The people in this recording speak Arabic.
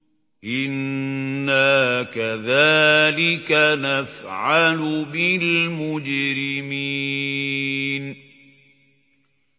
إِنَّا كَذَٰلِكَ نَفْعَلُ بِالْمُجْرِمِينَ